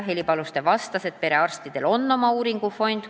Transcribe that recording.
Heli Paluste vastas, et perearstidel on oma uuringufond.